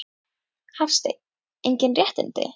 Hafsteinn: Engin réttindi?